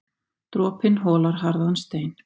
Dropinn holar harðan stein.